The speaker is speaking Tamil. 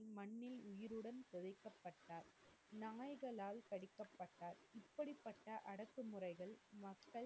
நாய்களால் கடிக்கப்பட்டார். இப்படிப்பட்ட அடுக்குமுறைகள் மக்கள்,